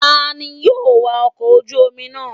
Tani yóò wa ọkọ̀ ojú omi náà?